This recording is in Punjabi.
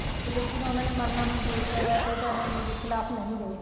ਤੇ ਲੇਕਿਨ ਉਹਨਾ ਨੇ ਮਾਰਨਾ ਮਨਜੂਰ ਕਰਿਆ ਤੇ ਧਰਮ ਦੇ ਖਿਲਾਫ਼ ਨਹੀਂ ਗਏ